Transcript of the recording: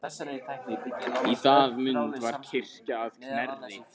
Í það mund var kirkja að Knerri.